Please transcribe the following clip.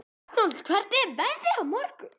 Arnold, hvernig er veðrið í dag?